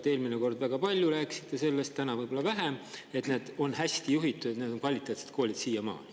Te eelmine kord väga palju rääkisite sellest – täna võib-olla vähem –, et need on siiamaani hästi juhitud ja kvaliteetsed koolid.